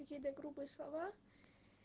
какие-то грубые слова